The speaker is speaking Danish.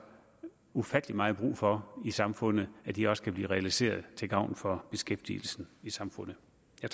ufattelig meget brug for i samfundet og de også kan blive realiseret til gavn for beskæftigelsen i samfundet